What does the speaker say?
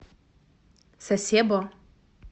сасебо